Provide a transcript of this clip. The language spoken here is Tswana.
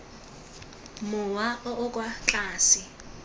mowa o o kwa tlase